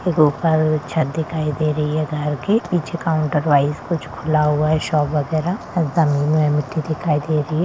एगो ऊपर में छत दिखाई दे रही गाड़ी की पीछे काउंटर वाइज कुछ खुला है शॉप वगेराह और जमीन में मिट्टी दिखाई दे रही।